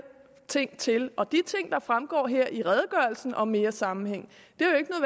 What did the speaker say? ting til og de ting der fremgår her i redegørelsen om mere sammenhæng